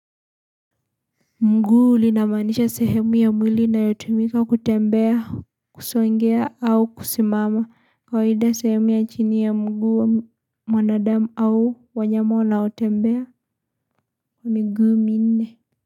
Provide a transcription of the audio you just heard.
Mguu linamaanisha sehemu ya mwili inayotumika kutembea kusongea au kusimama kawaida sehemu ya chini ya mguu mwanadamu au wanyama wanaotembea kwa miguu minne.